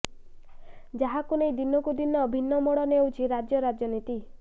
ଯାହାକୁ ନେଇ ଦିନକୁ ଦିନ ଭିନ୍ନ ମୋଡ ନେଉଛି ରାଜ୍ୟ ରାଜନୀତି